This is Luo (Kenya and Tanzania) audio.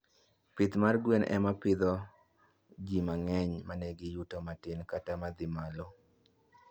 Pith mag gwen ema pidho ji mang'eny ma nigi yuto matin kata madhi malo.